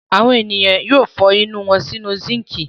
Àwọn ènìyàn yóò fọ inú wọn sínú síńkì.